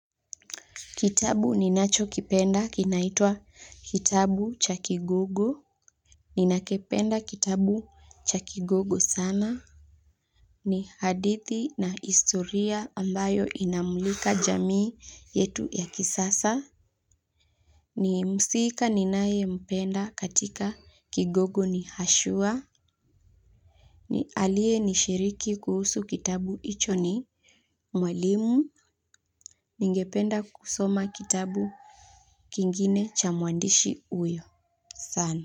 Kitabu ninacho kipenda kinaitwa kitabu cha kigogo. Ninakipenda kitabu cha kigogo sana. Ni hadithi na historia ambayo inamulika jamii yetu ya kisasa. Ni mhusika ninayempenda katika kigogo ni ashua. Ni aliyenishiriki kuhusu kitabu hicho ni. Mwalimu ningependa kusoma kitabu kingine cha mwandishi huyo sana.